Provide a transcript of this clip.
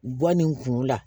Bɔ ni kun la